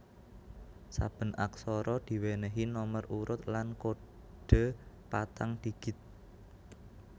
Saben aksara diwènèhi nomer urut lan kodhe patang digit